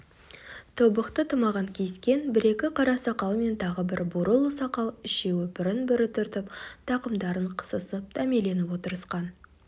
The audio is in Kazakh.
тобықты тымағын киіскен бір-екі қара сақал мен тағы бір бурыл сақал үшеуі бірін-бірі түртіп тақымдарын қысысып дәмеленіп отырысқан